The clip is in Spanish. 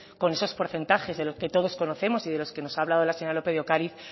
con esos porcentajes de los que todos conocemos y de los que nos ha hablado la señora lópez de ocariz